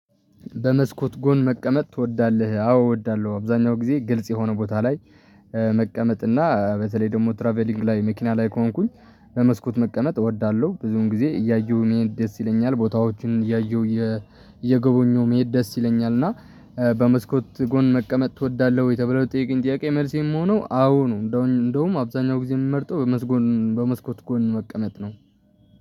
በመስኮት ጎን መቀመጥ ትወዳለህ አዎ እወዳለሁ አብዛኛው ጊዜ ግልጽ የሆነ ቦታ ላይ። መቀመጥ እና በተለይ ደግሞ ትራቭሊንግ ላይ መኪና ላይ ከሆንኩኝ በመስኮት መቀመጥ እወዳለሁ ብዙን ጊዜ እያየሁ መሄድ ደስ ይለኛል ቦታዎችን እያየሁ እየጎበኘሁ መሄድ ደስ ይለኛል። እና በመስኮት ጎን መቀመጥ ትወዳለህ ወይ ተብሎ ለተጠየቀኝ ጥያቄ መልሴ ሚሆነው አዎ ነው። እንደውም አብዛኛው ጊዜ የምመርጠው በመስኮት ጎን መቀመጥ ነው።